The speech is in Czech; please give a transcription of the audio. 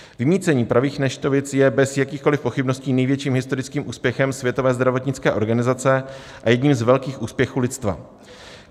Vymýcení pravých neštovic je bez jakýchkoliv pochybností největším historickým úspěchem Světové zdravotnické organizace a jedním z velkých úspěchů lidstva.